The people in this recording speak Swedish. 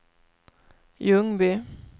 Ljungby